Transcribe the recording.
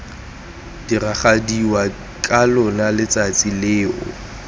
diragadiwa ka lona letsatsi leo